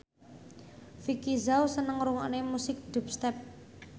Vicki Zao seneng ngrungokne musik dubstep